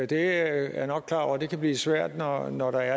det er jeg nok klar over kan blive svært når når der